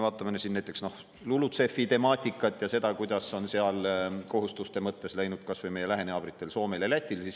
Vaatame näiteks LULUCF‑i temaatikat ja seda, kuidas on seal kohustuste mõttes läinud kas või meie lähinaabritel Soomel ja Lätil.